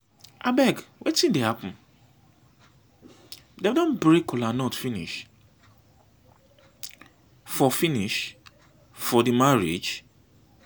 abeg wetin dey happen? dem don break kola nut finish for finish for the marriage?